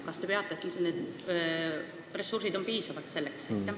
Kas need ressursid on piisavad?